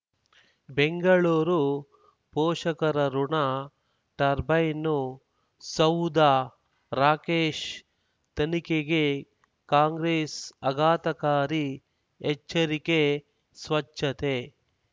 ಬೆಂಗಳೂರು ಪೋಷಕರಋಣ ಟರ್ಬೈನು ಸೌಧ ರಾಕೇಶ್ ತನಿಖೆಗೆ ಕಾಂಗ್ರೆಸ್ ಆಘಾತಕಾರಿ ಎಚ್ಚರಿಕೆ ಸ್ವಚ್ಛತೆ